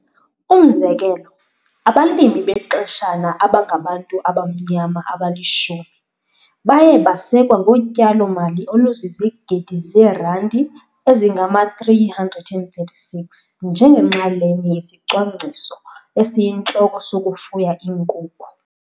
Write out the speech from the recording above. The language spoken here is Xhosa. Umzekelo, abalimi bexeshana abangabantu abamnyama abali-10 baye basekwa ngotyalomali oluzizigidi zeerandi ezingama-336 njengenxalenye yesicwangciso esiyintloko sokufuya iinkukhu.